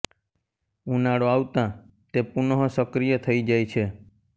ઉનાળો આવતાં તે પુનઃ સક્રિય થઇ જાય છે